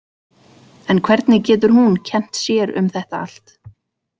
En hvernig getur hún kennt sér um þetta allt?